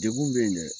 Degun bɛ yen dɛ